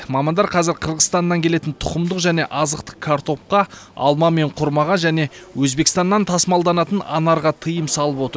мамандар қазір қырғызстаннан келетін тұқымдық және азықтық картопқа алма мен құрмаға және өзбекстаннан тасымалданатын анарға тыйым салып отыр